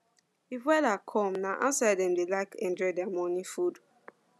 if weather calm na outside dem dey like enjoy their morning food